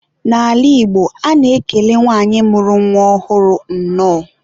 N'ala Igbo, a na-ekele nwanyị mụrụ nwa ọhụrụ, nnọọ.